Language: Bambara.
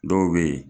Dɔw bɛ yen